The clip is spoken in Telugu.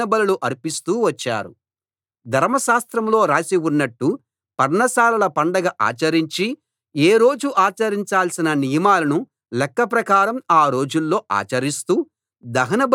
ధర్మశాస్త్రంలో రాసి ఉన్నట్టు పర్ణశాలల పండగ ఆచరించి ఏ రోజు ఆచరించాల్సిన నియమాలను లెక్క ప్రకారం ఆ రోజుల్లో ఆచరిస్తూ దహనబలులు అర్పిస్తూ వచ్చారు